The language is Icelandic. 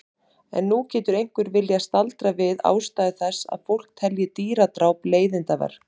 En nú getur einhver viljað staldra við ástæðu þess að fólk telji dýradráp leiðindaverk.